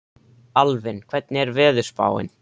Alvin, hvernig er veðurspáin?